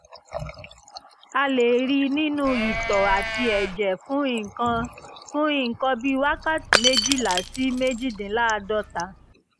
a lè rí i nínú itọ́ àti ẹ̀jẹ̀ fún nǹkan fún nǹkan bí wákàtí méjìlá sí méjìdínláàádọ́ta